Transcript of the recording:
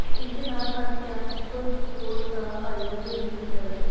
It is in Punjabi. ਇਸ ਦੇ ਨਾਲ ਅੱਜ ਕੈਂਪ ਕੋਰਟ ਦਾ ਆਯੋਜਨ ਵੀ ਕੀਤਾ ਗਿਆ